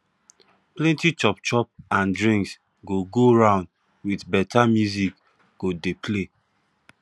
plenti chop chop and drinks go go round with beta music go dey play